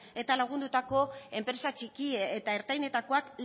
eta lagundutako enpresa txiki eta ertainetakoak